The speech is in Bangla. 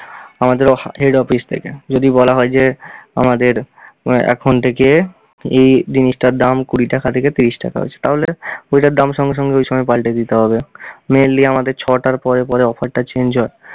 আমাদের অফা~ head office থেকে, যদি বলা হয় যে আমাদের আহ এখন থেকে এই জিনিসটার দাম কুড়ি টাকা থেকে ত্রিশ টাকা হয়েছে তাহলে ওইটার দাম সঙ্গে সঙ্গে ওই সময় পাল্টে দিতে হবে। mainly আমাদের ছ'টার পরে পরে offer টা change হয়।